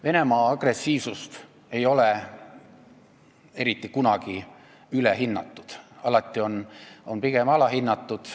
Venemaa agressiivsust ei ole eriti kunagi ülehinnatud, alati on pigem alahinnatud.